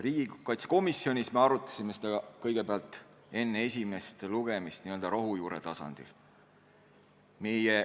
Riigikaitsekomisjonis me arutasime seda kõigepealt enne esimest lugemist n-ö rohujuure tasandil.